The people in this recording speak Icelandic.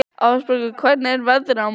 Ásbergur, hvernig er veðrið á morgun?